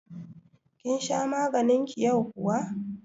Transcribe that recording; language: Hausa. Kin sha maganin ki yau kuwa?